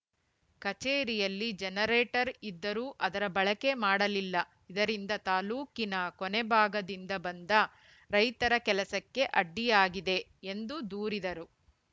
ಕಚೇರಿಯಲ್ಲಿ ಜನರೇಟರ್‌ ಇದ್ದರೂ ಅದರ ಬಳಕೆ ಮಾಡಲಿಲ್ಲ ಇದರಿಂದ ತಾಲ್ಲೂಕಿನ ಕೊನೆ ಭಾಗದಿಂದ ಬಂದ ರೈತರ ಕೆಲಸಕ್ಕೆ ಅಡ್ಡಿಯಾಗಿದೆ ಎಂದು ದೂರಿದರು